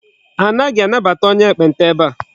Anaghị anabata onye ekpenta ebe a.